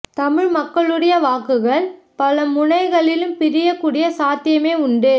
தமிழ் மக்களுடைய வாக்குகள் பல முனைகளிலும் பிரியக்கூடிய சாத்தியமே உண்டு